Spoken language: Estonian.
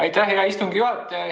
Aitäh, hea istungi juhataja!